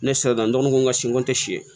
Ne saliladɔgɔ ko n ka si ko tɛ si